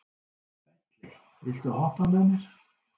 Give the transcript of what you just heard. Bentley, viltu hoppa með mér?